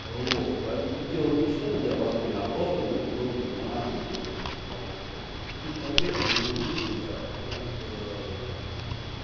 а вот поэтому тут дело не в частотном диапазоне а просто ну должен быть нормальный бренд хорошая то есть какие-то конкретно не могу рекомендовать ну потому что там